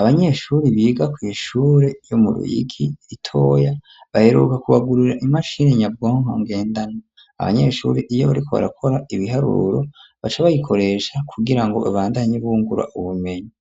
abanyeshuri biga kw'ishure ryo mu Ruyiki ritoya baheruka ku bagurira imashini nyabwonko ngendana abanyeshuri iyo bariko barakora ibiharuro baca bayikoresha kugira ngo babandanye bungura ubumenyi.